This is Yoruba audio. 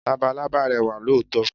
Labalábá rẹwà lóòótọ́.